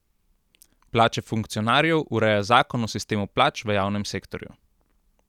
Plače funkcionarjev ureja zakon o sistemu plač v javnem sektorju.